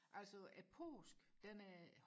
altså påsken den er